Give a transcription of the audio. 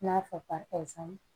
N'a fɔ pasami